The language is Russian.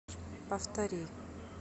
повтори